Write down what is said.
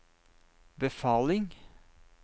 befaling